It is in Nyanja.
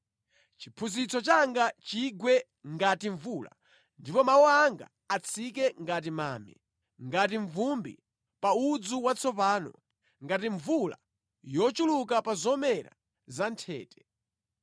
Chiphunzitso changa chigwe ngati mvula ndipo mawu anga atsike ngati mame, ngati mvumbi pa udzu watsopano, ngati mvula yochuluka pa zomera zanthete.